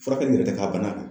Furakɛli yɛrɛ tɛ ka bana kan.